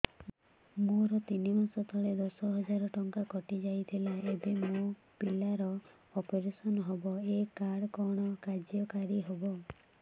ମୋର ତିନି ମାସ ତଳେ ଦଶ ହଜାର ଟଙ୍କା କଟି ଯାଇଥିଲା ଏବେ ମୋ ପିଲା ର ଅପେରସନ ହବ ଏ କାର୍ଡ କଣ କାର୍ଯ୍ୟ କାରି ହବ